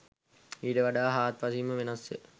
ඊට වඩා හාත් පසින්ම වෙනස්ය.